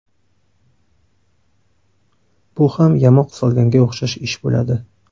Bu ham yamoq solganga o‘xshash ish bo‘ladi.